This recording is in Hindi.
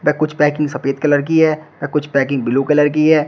ना कुछ पैकिंग सफेद कलर की है ना कुछ पैकिंग ब्लू कलर की है।